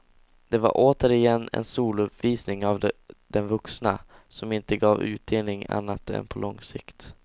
Det var återigen en solouppvisning av den vuxna, som inte gav utdelning annat än på lång sikt.